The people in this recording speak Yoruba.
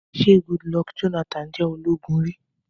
Ṣé Goodluck Jonathan jẹ́ ológun rí?